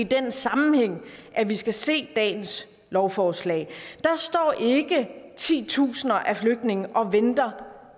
den sammenhæng vi skal se dagens lovforslag der står ikke titusinder af flygtninge og venter